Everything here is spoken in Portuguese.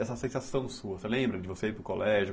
Essa sensação sua, você lembra de você ir para o colégio?